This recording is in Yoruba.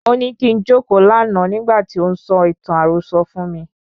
Óní kín jókòó lànà nígbà tí ó ń sọ ìtàn àròsọ fún mí..